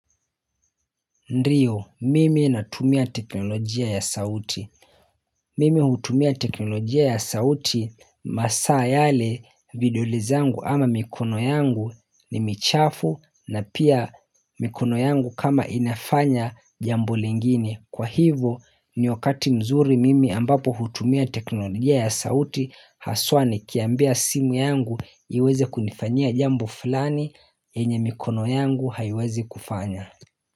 Ndio mimi natumia teknolojia ya sauti Mimi hutumia teknolojia ya sauti masaa yale vidole zangu ama mikono yangu ni michafu na pia mikono yangu kama inafanya jambo lingini kwa hivyo ni wakati mzuri mimi ambapo hutumia teknolojia ya sauti haswa ni kiambia simu yangu iweze kunifanya jambo falani enye mikono yangu haiwezi kufanya.